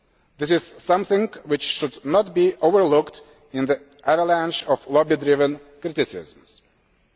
this is something which should not be overlooked in the avalanche of lobby driven criticism.